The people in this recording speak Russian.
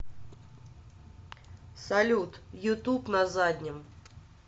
салют ютуб на заднем